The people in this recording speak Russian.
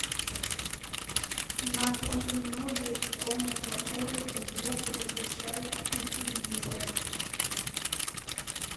на три минуты комната отдыха звук выключай у телевизора